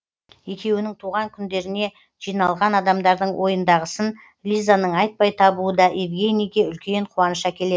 екеуінің туған күндеріне жиналған адамдардың ойындағысын лизаның айтпай табуы да евгенийге үлкен қуаныш әкелетін